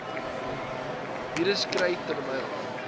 virus kry terwyl